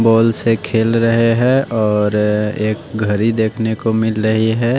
Balls से खेल रहे हैं और एक घड़ी देखने को मिल रही हैं।